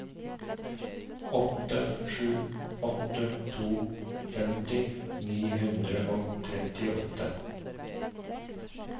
åtte sju åtte to femti ni hundre og trettiåtte